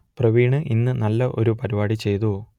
പ്രവീൺ ഇന്ന് നല്ല ഒരു പരിപാടി ചെയ്തു